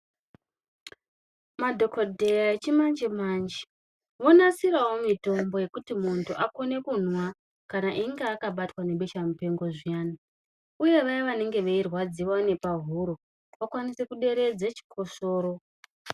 Madhokodheya yechimanje manje vonasirawo mitombo yekuti munhu akone kumwa kana einge akabatwa ngebeshamupengo zviyani uye vaye vanenge veirwadziwa ngepahuro vakwanise kuderedze chikosoro.